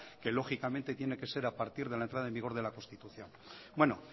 que lógicamente tiene que ser a partir de la entrada en vigor de la constitución bueno